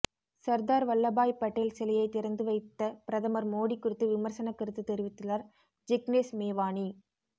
சர்தார் வல்லபாய் படேல் சிலையை திறந்து வைத்த பிரதமர் மோடி குறித்து விமர்சன கருத்து தெரிவித்துள்ளார் ஜிக்னேஷ் மேவானி